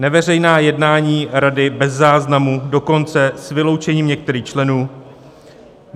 Neveřejná jednání rady bez záznamu, dokonce s vyloučením některých členů.